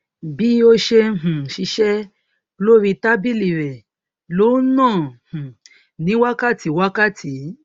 bí ó ṣe ń um ṣiṣẹ lórí tábìlì rẹ ló ń nà um ní wákàtí wákàtí